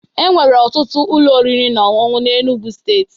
Enwere ọtụtụ ụlọ oriri na ọṅụṅụ na Enugwu Steeti